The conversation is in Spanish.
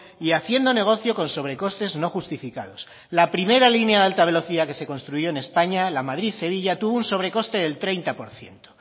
y haciendo negocio con sobrecostes no justificados la primera línea de alta velocidad que se construyó en españa la madrid sevilla tuvo un sobrecoste del treinta por ciento